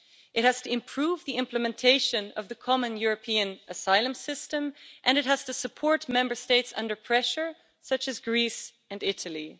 It has to improve the implementation of the Common European Asylum System, and it has to support Member States under pressure, such as Greece and Italy.